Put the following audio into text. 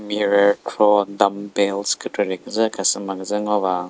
mirror khro dumbbells kükrekre küdzü khasü ma küdzü ngo ba.